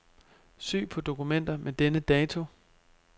Søg på dokumenter med denne dato.